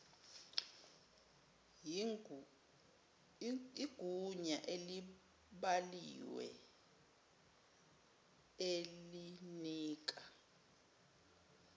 yigunya elibhaliwe elinika